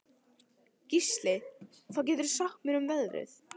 Gísli, hvað geturðu sagt mér um veðrið?